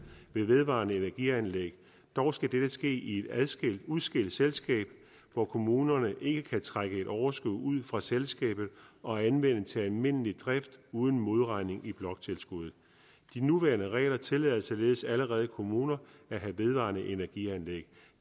med vedvarende energi anlæg dog skal dette ske i et adskilt og udskilt selskab og kommunerne ikke trække et overskud ud fra selskabet og anvende det til almindelig drift uden modregning i bloktilskuddet de nuværende regler tillader således allerede kommuner at have vedvarende energi anlæg